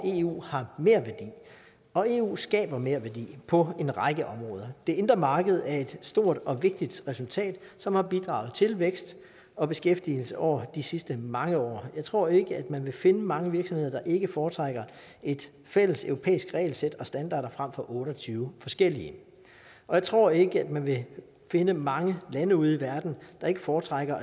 eu har merværdi og eu skaber merværdi på en række områder det indre marked er et stort og vigtigt resultat som har bidraget til vækst og beskæftigelse over de sidste mange år jeg tror ikke at man vil finde mange virksomheder der ikke foretrækker et fælleseuropæisk regelsæt og standarder frem for otte og tyve forskellige og jeg tror ikke at man vil finde mange lande ude i verden der ikke foretrækker